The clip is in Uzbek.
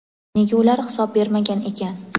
nega ular hisob bermagan ekan.